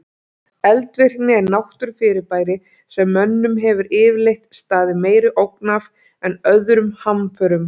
Eldvirkni er náttúrufyrirbæri sem mönnum hefur yfirleitt staðið meiri ógn af en öðrum hamförum.